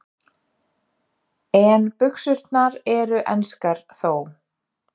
En buxurnar eru enskar þó.